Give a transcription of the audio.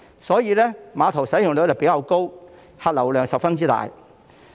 所以，該碼頭使用率比較高，客流量十分大。